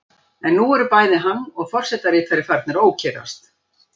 En nú eru bæði hann og forseta ritari farnir að ókyrrast.